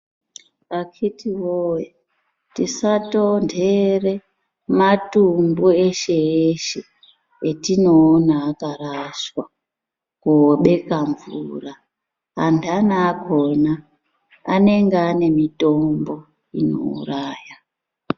Akiti woye tisatontere matumbu eshe-eshe, atinoona akarashwa, koobeka mvura. Antani akona anenge ane mitombo inouraya.